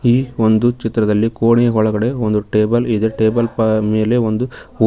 ಈ ಒಂದು ಚಿತ್ರದಲ್ಲಿ ಕೋಣೆಯ ಒಳಗಡೆ ಒಂದು ಟೇಬಲ್ ಇದೆ ಟೇಬಲ್ ಪಾ ಮೇಲೆ ಒಂದು ಊ --